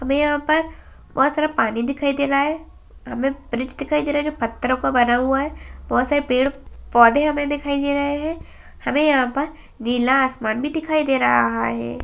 हमें यहाँं पर बहुत सारा पानी दिखाई दे रहा है हमें ब्रिज दिखाई दे रहा है जो पत्थर का बना हुआ है बहुत सारे पेड़ पौधे हमें दिख रहे हैं हमें यहाँं पर नीला आसमान भी दिखाई दे रहा है।